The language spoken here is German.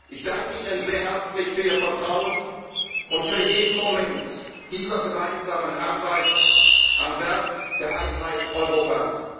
Privileg. Ich danke Ihnen sehr herzlich für Ihr Vertrauen und für jeden Moment dieser gemeinsamen Arbeit am Werk der Einheit